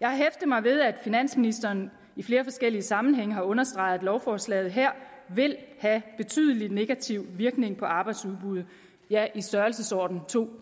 jeg har hæftet mig ved at finansministeren i flere forskellige sammenhænge har understreget at lovforslaget her vil have betydelig negativ virkning på arbejdsudbuddet ja i størrelsesordenen to